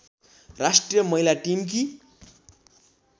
राष्ट्रिय महिला टिमकी